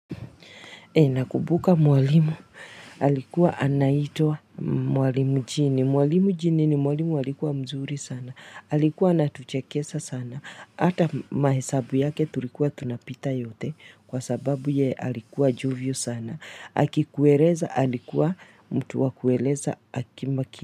Nakumbuka mwalimu alikuwa anaitwa mwalimu jini. Mwalimu jini ni mwalimu alikuwa mzuri sana. Alikuwa anatuchekesha sana. Hata mahesabu yake tulikuwa tunapita yote kwa sababu yeye alikuwa jovial sana. Akikueleza alikuwa mtu wa kueleza akimaki.